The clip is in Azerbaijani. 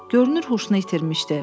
Görünür huşunu itirmişdi.